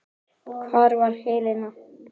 Hvar er Helena?